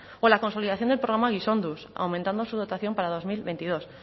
o la consolidación del programa gizonduz aumentando su dotación para dos mil veintidós